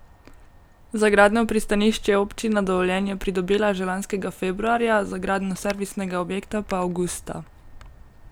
Za gradnjo pristanišč je občina dovoljenje pridobila že lanskega februarja, za gradnjo servisnega objekta pa avgusta.